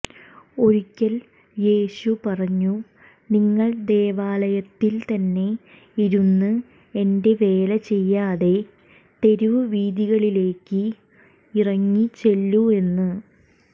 ഒരിക്കൽ യേശു പറഞ്ഞു നിങ്ങൾ ദേവാലയത്തിൽ തന്നെ ഇരുന്നു എന്റെ വേല ചെയ്യാതെ തെരുവീഥികളിലേക്കു ഇറങ്ങി ചെല്ലൂ എന്ന്